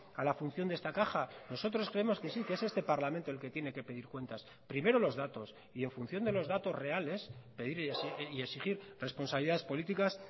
a la función de esta caja nosotros creemos que sí que es este parlamento el que tiene que pedir cuentas primero los datos y en función de los datos reales pedir y exigir responsabilidades políticas